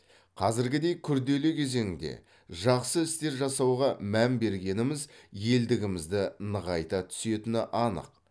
қазіргідей күрделі кезеңде жақсы істер жасауға мән бергеніміз елдігімізді нығайта түсетіні анық